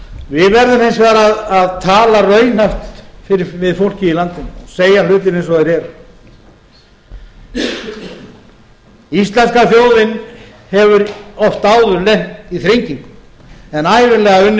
við verðum hins vegar að tala raunhæft við fólkið í landinu segja hlutina eins og þeir eru íslenska þjóðin hefur oft áður lent í þrengingum en ævinlega unnið sig út